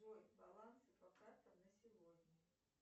джой баланс по картам на сегодня